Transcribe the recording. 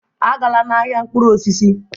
Agala n'ahịa mkpụrụ osisi!